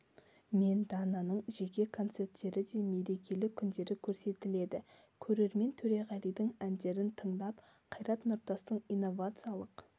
мен дананың жеке концерттері де мереке күндері көрсетіледі көрермен төреғалидің әндерін тыңдап қайрат нұртастың инновациялық